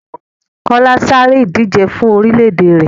Kọ́lá sáré ìdije fún orílè-èdè rẹ̀.